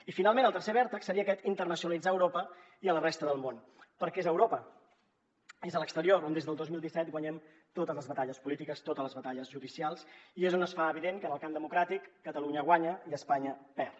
i finalment el tercer vèrtex seria aquest internacionalitzar a europa i a la resta del món perquè és a europa és a l’exterior on des del dos mil disset guanyem totes les batalles polítiques totes les batalles judicials i és on es fa evident que en el camp democràtic catalunya guanya i espanya perd